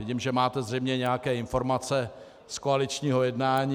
Vidím, že máte zřejmě nějaké informace z koaličního jednání.